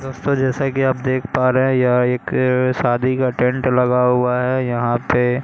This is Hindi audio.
दोस्तों जैसा कि आप देख पा रहे हैं यह एक शादी का टेंट लगा हुआ है यहां पे--